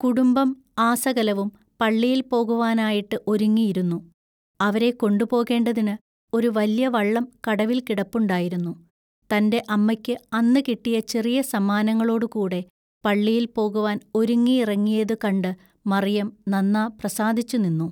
കുടുംബം ആസകലവും പള്ളിയിൽപോകുവാനായിട്ടു ഒരുങ്ങിയിരുന്നു. അവരെ കൊണ്ടുപോകേണ്ടതിനു ഒരു വല്യ വള്ളം കടവിൽ കിടപ്പുണ്ടായിരുന്നു തന്റെ അമ്മയ്ക്കു അന്നുകിട്ടിയ ചെറിയ സമ്മാനങ്ങളൊടു കൂടെ പള്ളിയിൽ പോകുവാൻ ഒരുങ്ങിയിറങ്ങിയതു കണ്ട് മറിയം നന്നാ പ്രസാദിച്ചുനിന്നു.